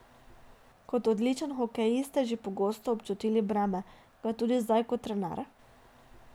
Kot odličen hokejist ste že pogosto občutili breme, ga tudi zdaj kot trener?